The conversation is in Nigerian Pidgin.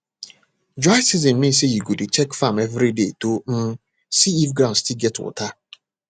dry season mean say you go dey check farm every day to um see if ground still get water